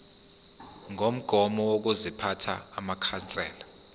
ngokomgomo wokuziphatha wamakhansela